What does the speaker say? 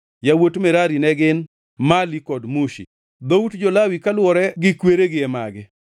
Yawuot Merari ne gin: Mali kod Mushi. Dhout jo-Lawi kaluwore kweregi e magi: